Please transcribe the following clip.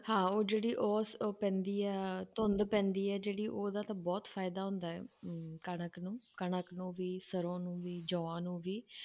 ਹਾਂ ਉਹ ਜਿਹੜੀ ਉਹ ਉਹ ਪੈਂਦੀ ਹੈ ਧੁੰਦ ਪੈਂਦੀ ਹੈ ਜਿਹੜੀ ਉਹਦਾ ਤਾਂ ਬਹੁਤ ਫ਼ਾਇਦਾ ਹੁੰਦਾ ਹੈ ਅਮ ਕਣਕ ਨੂੰ, ਕਣਕ ਨੂੰ ਵੀ ਸਰੋਂ ਨੂੰ ਵੀ, ਜੌਂਆਂ ਨੂੰ ਵੀ,